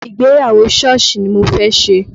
Ìgbéyàwó Sọ́ọ̀sì ni mo fẹ́ ṣe